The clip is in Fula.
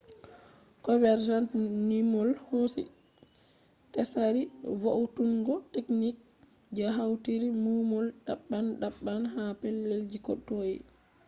convergent numol hosi tsari vo’utungo techniques je hautiri numol daban daban ha pellel ji ko toi